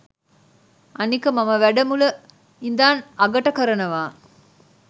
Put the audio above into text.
අනික මම වැඩ මුල ඉඳන් අගට කරනවා